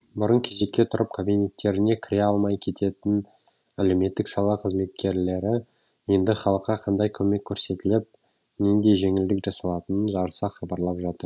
бұрын кезекке тұрып кабинеттеріне кіре алмай кететін әлеуметтік сала қызметкерлері енді халыққа қандай көмек көрсетіліп нендей жеңілдік жасалатынын жарыса хабарлап жатыр